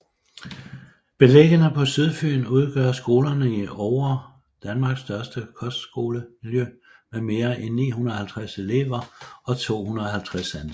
Beliggende på Sydfyn udgør Skolerne i Oure Danmarks største kostskolemiljø med mere end 950 elever og 250 ansatte